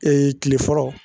tile fɔlɔ